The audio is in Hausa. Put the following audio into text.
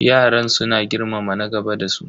Yaran suna girmama na gaba da su.